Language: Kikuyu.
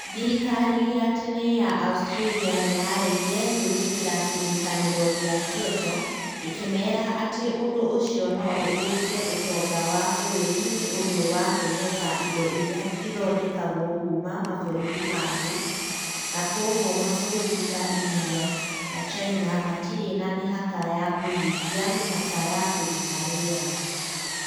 Thirikari ya tene ya Australia nĩ yaaregire gwĩtĩkĩra kĩrĩkanĩro kĩa Kyoto, ĩkĩmeera atĩ ũndũ ũcio no ũthũkie ũtonga wa bũrũri nĩ ũndũ wa kwĩhoka indo iria ithondekagwo kuuma mabũrũri mangĩ, na kwoguo mabũrũri ta India na China matirĩ na mĩhaka ya kũhingia mĩhaka ya kũruta rĩera.